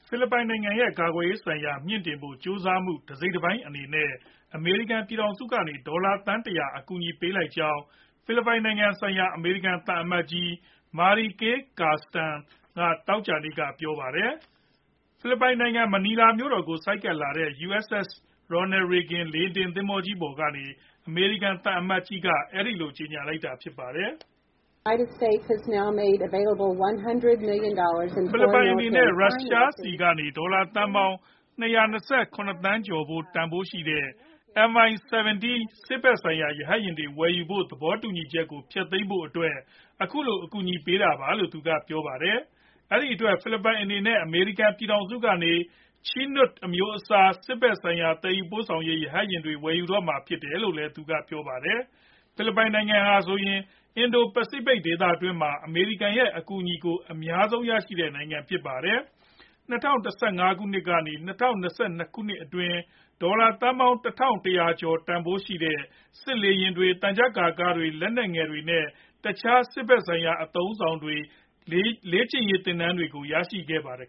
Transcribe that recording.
ဖိလစ်ပိုင်နိုင်ငံရဲ့ ကာကွယ်ရေးဆိုင်ရာ မြှင့်တင်ဖို့ ကြိုးစားမှု တစိတ်တပိုင်းအနေနဲ့ အမေရိကန် ပြည်ထောင်စုကနေ ဒေါ်လာသန်း ၁ဝဝ အကူအညီပေးလိုက်ကြောင်း ဖိလစ်ပိုင်နိုင်ငံဆိုင်ရာ အမေရိကန် သံအမတ်ကြီး Mary Kay Carlson က သောကြာနေ့က ပြောပါတယ်။ ဖိလစ်ပိုင်နိုင်ငံ မနီလာမြို့တော်ကို ဆိုက်ကပ်လာတဲ့ USS Ronald Reagan လေယာဉ်တင် သင်္ဘောကြီး ပေါ်ကနေ အမေရိကန် သံအမတ်ကြီးက အဲဒီလို ကြေညာလိုက်တာဖြစ်ပါတယ်။ ဖိလစ်ပိုင်အနေနဲ့ ရုရှားဆီကနေ ဒေါ်လာသန်းပေါင်း ၂၂၇ သန်းကျော် တန်ဖိုးရှိတဲ့ MI 17 စစ်ဖက်ဆိုင်ရာ ရဟတ်ယာဉ်တွေ ဝယ်ယူဖို့ သဘောတူညီချက်ကို ဖျက်သိမ်းဖို့အတွက် အခုလို အကူအညီပေးတာလို့ သူကပြောပါတယ်။ အဲဒီအတွက် ဖိလစ်ပိုင်အနေနဲ့ အမေရိကန် ပြည်ထောင်စုကနေ Chinook အမျိုးအစား စစ်ဖက်ဆိုင်ရာ သယ်ယူပို့ဆောင်ရေး ရဟတ်ယာဉ်တွေ ဝယ်ယူတော့မှာ ဖြစ်တယ်လို့ သူကပြောပါတယ်။ ဖိလစ်ပိုင်နိုင်ငံဟာဆိုရင် အင်ဒို ပစီဖိတ်ဒေသတွင်းမှာ အမေရိကန် ရဲ့ အကူညီကို အများဆုံးရရှိတဲ့နိုင်ငံဖြစ်ပါတယ်။ ၂ဝ၁၅ ကနေ ၂ဝ၂၂ ခုနှစ်အတွင်း ဒေါ်လာသန်းပေါင်း ၁၁ဝဝ ရာကျော်တန်ဖိုးရှိတဲ့ စစ်လေယာဉ်တွေ၊ သံချပ်ကာကားတွေ၊ လက်နက်ငယ်တွေ နဲ့ တခြား စစ်ဖက်ဆိုင်ရာ အသုံးအဆောင်တွေ နဲ့ လေ့ကျင်ရေးသင်တန်းတွေရရှိခဲ့ပါတယ်